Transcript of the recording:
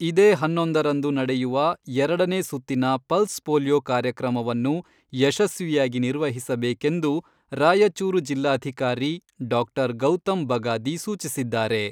ಇದೇ ಹನ್ನೊಂದರಂದು ನಡೆಯುವ ಎರಡನೇ ಸುತ್ತಿನ ಪಲ್ಸ್ ಪೋಲಿಯೊ ಕಾರ್ಯಕ್ರಮವನ್ನು ಯಶಸ್ವಿಯಾಗಿ ನಿರ್ವಹಿಸಬೇಕೆಂದು ರಾಯಚೂರು ಜಿಲ್ಲಾಧಿಕಾರಿ ಡಾಕ್ಟರ್ ಗೌತಮ್ ಬಗಾದಿ ಸೂಚಿಸಿದ್ದಾರೆ.